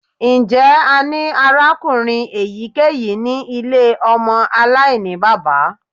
Njẹ a ni arakunrin eyikeyi ni ile ọmọ alainibaba?